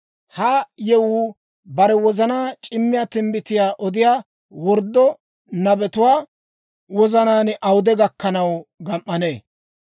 Ha yewuu bare wozana c'imuwaa timbbitiyaa odiyaa worddo nabetuwaa wozanaan awude gakkanaw gam"annee?